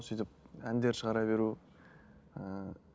сөйтіп әндер шығара беру ііі